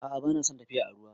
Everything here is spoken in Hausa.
A'a, ba na son tafiya a ruwa.